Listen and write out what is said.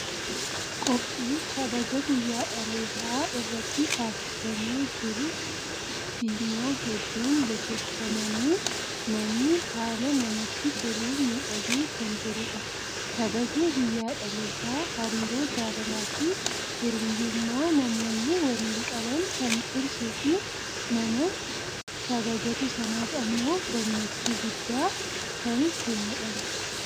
Qophii kabaja guyyaa dhalootaa irratti taasifamee jiru. Fiinyaa hedduun bokokfamanii, manni haala namatti toluun miidhagee kan jirudha. Kabajni guyyaa dhalootaa hariiroo jaalalaa fi hiriyyummaa namoonni waliin qaban kan cimsuu fi nama kabajatu sanaaf ammoo gammachuu guddaa kan kennudha.